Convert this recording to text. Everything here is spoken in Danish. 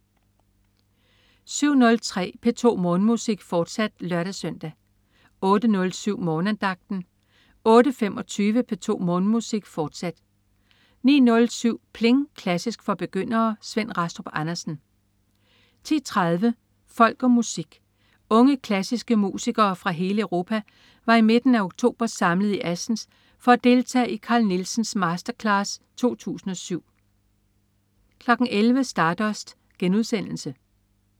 07.03 P2 Morgenmusik, fortsat (lør-søn) 08.07 Morgenandagten 08.25 P2 Morgenmusik, fortsat 09.07 Pling! Klassisk for begyndere. Svend Rastrup Andersen 10.30 Folk og Musik. Unge klassiske musikere fra hele Europa var i midten af oktober samlet i Assens for at deltage i Carl Nielsen Masterclass 2007 11.00 Stardust*